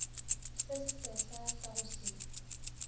se sesehla sa go se